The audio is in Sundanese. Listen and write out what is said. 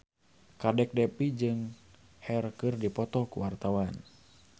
Kadek Devi jeung Cher keur dipoto ku wartawan